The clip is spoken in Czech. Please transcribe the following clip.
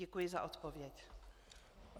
Děkuji za odpověď.